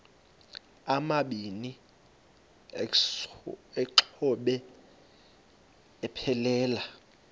amabini exhobe aphelela